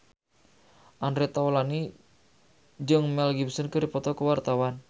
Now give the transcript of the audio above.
Andre Taulany jeung Mel Gibson keur dipoto ku wartawan